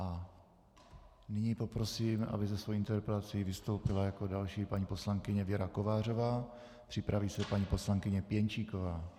A nyní poprosím, aby se svou interpelací vystoupila jako další paní poslankyně Věra Kovářová, připraví se paní poslankyně Pěnčíková.